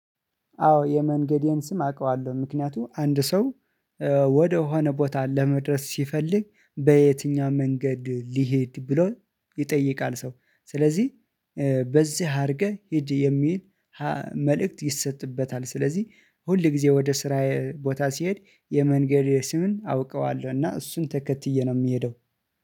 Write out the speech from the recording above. አዎ የመንገዴን ስም አቃለሁ ምክንያቱም አንድ ሰው ወደሆነ ቦታ ለመድረስ ሲፈልግ በየትኛው መንገድ ሊሄድ ብሎ ይጠይቃል። ሰው ስለዚህ በዚህ አርገህ ሂድ የሚል መልእክት ይሰጥበታል። ስለዚህ ሁል ጊዜ ወደ ስራዬ ቦታ ሲሄድ የመንገዴ ስምን አውቀዋለሁ። እና እሱን ተከትዬ ነው ምሄደው